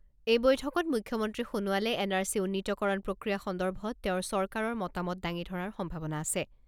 এই বৈঠকত মুখ্যমন্ত্ৰী সোণোৱালে এন আৰ চি উন্নীতকৰণ প্ৰক্ৰিয়া সন্দৰ্ভত তেওঁৰ চৰকাৰৰ মতামত দাঙি ধৰাৰ সম্ভাৱনা আছে।